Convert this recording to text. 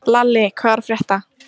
Lalli, hvað er að frétta?